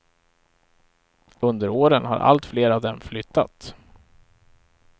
Under åren har allt fler av dem flyttat.